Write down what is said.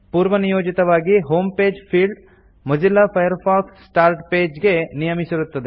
ಪೂರ್ವನಿಯೋಜಿತವಾಗಿ home page field Mozilla Firefox start page ಗೆ ನಿಯಮಿಸಿರುತ್ತದೆ